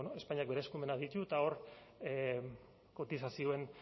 espainiak bere eskumenak ditu eta hor kotizazioen